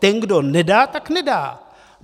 Ten, kdo nedá, tak nedá.